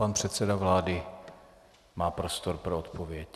Pan předseda vlády má prostor pro odpověď.